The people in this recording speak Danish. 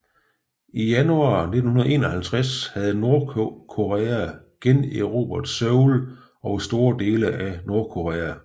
I januar 1951 havde Nordkorea generobret Seoul og store dele af Nordkorea